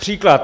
Příklad.